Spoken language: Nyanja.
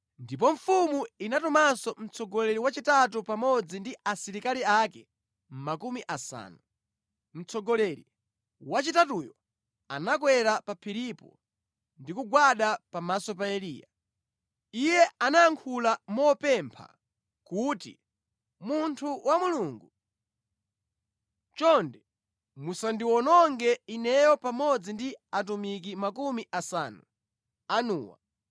Ndipo mfumu inatumanso mtsogoleri wachitatu pamodzi ndi asilikali ake makumi asanu. Mtsogoleri wachitatuyu anakwera pa phiripo ndi kugwada pamaso pa Eliya. Iye anayankhula mopemba kuti, “Munthu wa Mulungu, chonde musandiwononge ineyo pamodzi ndi atumiki makumi asanu anuwa!